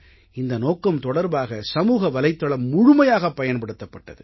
இந்த நோக்கம் தொடர்பாக சமூக வலைத்தளம் முழுமையாகப் பயன்படுத்தப் பட்டது